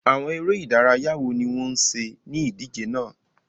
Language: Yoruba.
Àwọn ère ìdárayá wo ni wọn ṣe ni idije náà?